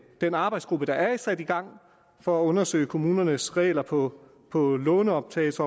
den arbejdsgruppe der er sat i gang for at undersøge kommunernes regler på på lånoptagelses